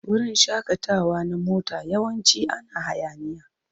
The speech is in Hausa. Wurin shakatawa na mota yawanci ana hayaniya.